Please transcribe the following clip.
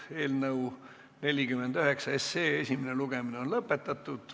Eelnõu 49 esimene lugemine on lõpetatud.